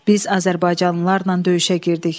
Biz azərbaycanlılarla döyüşə girdik.